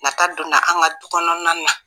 Nata donna an ka dukɔnɔna na.